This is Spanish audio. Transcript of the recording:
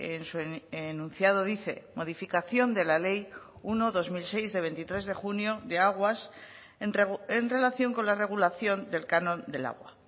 en su enunciado dice modificación de la ley uno barra dos mil seis de veintitrés de junio de aguas en relación con la regulación del canon del agua